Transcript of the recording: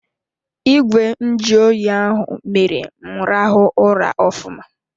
Ìgwè nju oyi ahụ mere m rahụ ụra ofụma.